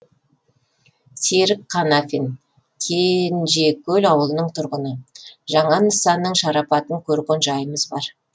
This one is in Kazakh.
серік қанафин кенжекөл ауылының тұрғыны жаңа нысанның шарапатын көрген жайымыз бар